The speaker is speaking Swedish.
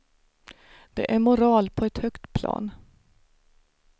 Det är moral på ett högt plan.